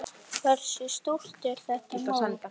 Hversu stórt er þetta mót?